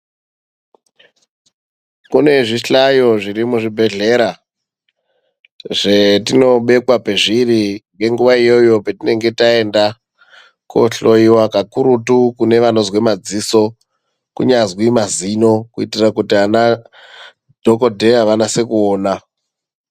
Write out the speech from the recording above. Kune zvihlayo zviri muzvibhedhlera zvetinobekwa pezviri ngenguwa iyoyo petinenge taenda kohloyiwa kakurutu kune vanozwe maziso kunyazwi mazino kuitira kuti ana dhokodheya vanase kuona.